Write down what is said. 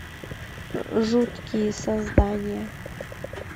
жуткие создания